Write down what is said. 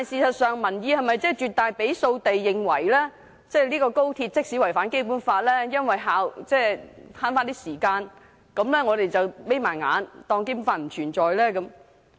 然而，民意是否真的絕大多數認為，即使"一地兩檢"違反《基本法》，但為了節省時間，我們就應閉上眼當《基本法》不存在？